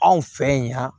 Anw fɛ yan